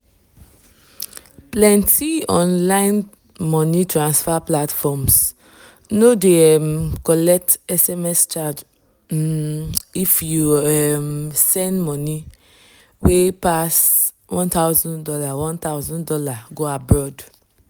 plenty online money transfer platforms no dey um collect sms charge um if you send um money wey pass one thousand dollars one thousand dollars go abroad